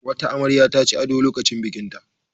Wata amarya ta ci ado lokacin bikinta.